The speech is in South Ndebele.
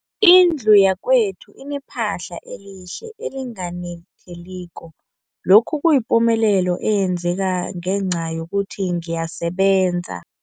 Indlu yakwethu inephahla elihle, elinganetheliko, lokhu kuyipumelelo eyenzeke ngenca yokuthi ngiyasebenza.